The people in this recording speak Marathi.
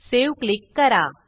सावे क्लिक करा